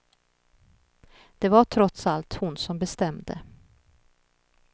Det var trots allt hon som bestämde.